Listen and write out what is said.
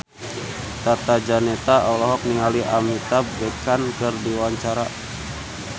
Tata Janeta olohok ningali Amitabh Bachchan keur diwawancara